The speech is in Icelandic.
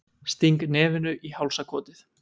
Sting nefinu í hálsakotið.